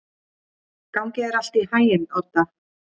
Gangi þér allt í haginn, Odda.